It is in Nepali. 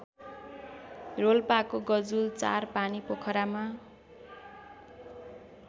रोल्पाको गजुल ४ पानीपोखरामा